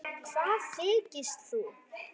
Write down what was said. Hvað þykist þú.